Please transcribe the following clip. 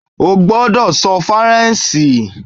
o gbọdọ sọ Faranse